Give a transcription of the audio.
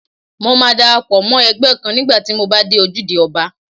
Mo máa dara pọ̀ mọ́ ẹgbẹ́ kan nígbà tí mo bá dé Ojúde Ọba.